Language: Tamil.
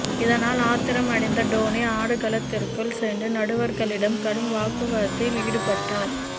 இதனால் ஆத்திரமடைந்த டோனி ஆடுகளத்திற்குள் சென்று நடுவர்களிடம் கடும் வாக்குவத்தில் ஈடுபட்டார்